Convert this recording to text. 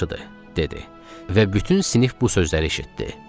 Və bütün sinif bu sözləri eşitdi.